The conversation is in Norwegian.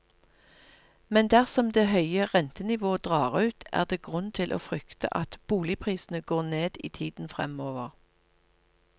Men dersom det høye rentenivået drar ut, er det grunn til å frykte at boligprisene går ned i tiden fremover.